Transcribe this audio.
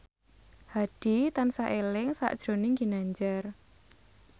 Hadi tansah eling sakjroning Ginanjar